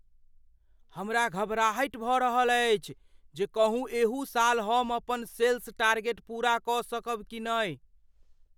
हमरा घबराहटि भऽ रहल अछि जे कहूँ एहू साल हम अपन सेल्स टारगेट पूरा कऽ सकब कि नहि ।